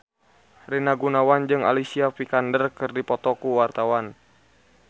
Rina Gunawan jeung Alicia Vikander keur dipoto ku wartawan